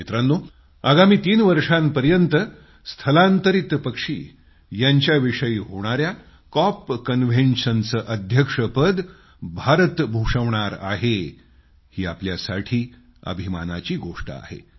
मित्रांनो आगामी तीन वर्षांपर्यंत स्थलांतरीत पक्षी यांच्याविषयी होणाया कॉपकन्व्हेन्शनचे अध्यक्षपद भारत भूषवणार आहे ही आपल्यासाठी अभिमानाची गोष्ट आहे